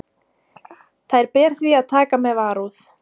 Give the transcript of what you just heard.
Þær ber því að taka með varúð.